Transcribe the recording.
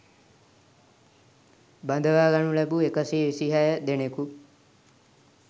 බඳවා ගනු ලැබූ එකසිය විසිහය දෙනෙකු